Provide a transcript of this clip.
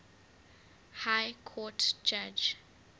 high court judge